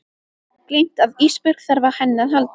Gleymt að Ísbjörg þarf á henni að halda.